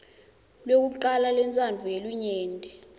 lwekucala lwentsandvo yelinyenti